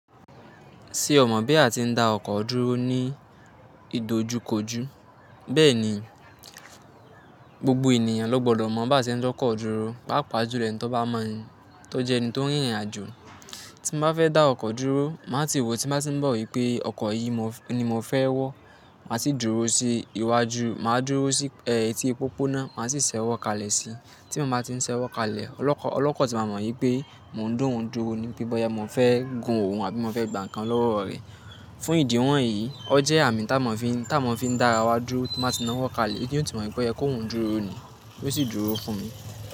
Ṣé o mọ̀ bí a ti ń dá ọkọ̀ dúró ní ìdojúkojú? Bẹ́ẹ̀ ni, gbogbo ènìyàn ló gbọ́dọ̀ mọ bá ti ń dọkọ̀ dúró, pàápàá jùlọ ẹni tó bá mọ̀ ọ́n, tó jẹ́ ẹni tó ń rìnrìn àjò. Tí mo bá fẹ́ dá ọkọ̀ dúró, màá ti wò tí màá ti mọ̀ wípé ọkọ̀ yìí ni mo fẹ́ wọ̀. Màá sì dúró sí iwájú, màá dúró sí eh ẹti pópónà, màá sì ṣẹ́wọ́kalẹ̀ sí i. Tí mo bá ti ń ṣẹ́wọ́kalẹ̀, ọlọ́kọ̀ tí máa mọ̀ wípé mò ń da òun dúró ni. Bí bọ́ya, mò ń fẹ́ gùn òun àbí mò ń fẹ́ gba ǹkan lọ́wọ́ rẹ̀. Fún ìdí wọn yìí ó jẹ́ àmì tí a má ń fi dá arawa dúró, tí mo bá ti na ọwọ́ kalẹ̀ yó tí mo pé ó yẹ kí òun dúró ni yóó sì dúró fún mi.